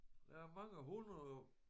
Der er mange hundreder